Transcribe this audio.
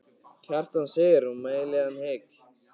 Kjartan segir og mæli hann heill.